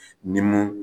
Ni mun